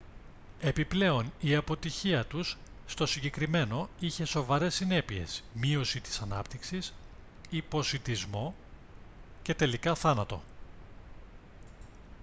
επιπλέον η αποτυχία τους στο συγκεκριμένο είχε σοβαρές συνέπειες μείωση της ανάπτυξης υποσιτισμό και τελικά θάνατο